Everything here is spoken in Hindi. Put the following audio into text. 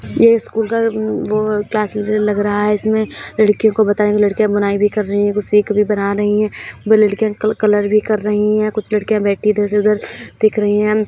ये स्कूल का अ म वो क्लास जैसा लग रहा है इसमें लड़कियों को बता रही हैं। कुछ लड़कियां बुनाई भी कर रही हैं। कुछ सीख भी बना रही है। वो लड़कियाँ क कलर भी कर रही हैं। कुछ लड़कियाँ बैठी इधर से उधर दिख रही हैं।